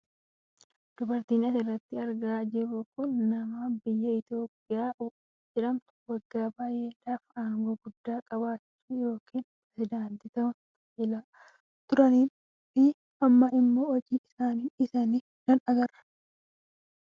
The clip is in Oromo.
Dubartiin asirratti argaa jirtu kun ammoo nama biyya Itoopiyaa jedhamtu waggaa baayyee dhaaf aangoo guddaa qabachuun yookaan perisedaantii ta'uun tajaajilaa turanii fi amma ammoo hojii isaanii dhiisanii jiran argaa jirra.